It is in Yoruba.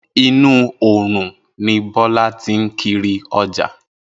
Inú oòrùn ni Bo̩̩lá ti ń kiri o̩jà